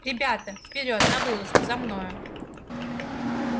ребята вперёд на вылазку за мною